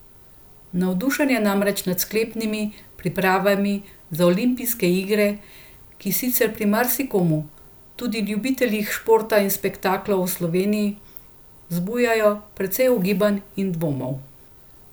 Navdušen je namreč nad sklepnimi pripravami za zimske olimpijske igre, ki sicer pri marsikomu, tudi ljubiteljih športa in spektaklov v Sloveniji, zbujajo precej ugibanj in dvomov.